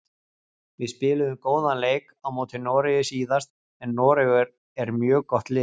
Við spiluðum góðan leik á móti Noregi síðast en Noregur er mjög gott lið.